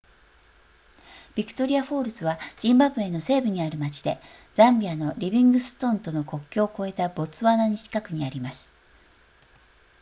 ビクトリアフォールズはジンバブエの西部にある町でザンビアのリビングストンとの国境を越えたボツワナに近くにあります